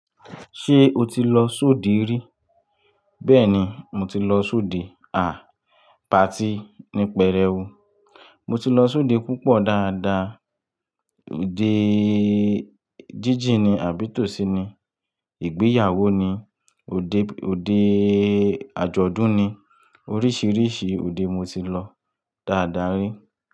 Ṣé o ti lọ sóde rí? Bẹ́ẹ̀ni, mo ti lọ sóde. À, party ní pèrẹ́u. Mo ti lọ sóde púpọ̀ dáadáa. Ode jíjì ni, àbí tòsí ni, ìgbéyàwó ni, ode, ode àjọ̀dún ni. Oríṣiríṣi òde mo ti lọ dáadáa rí.